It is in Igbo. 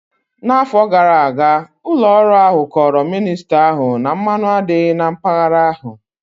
N'afọ gara aga, ụlọ ọrụ ahụ kọọrọ minista ahụ na mmanụ adịghị na mpaghara ahụ